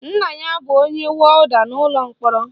Nna ya bụ onye wọda n'ụlọ mkpọrọ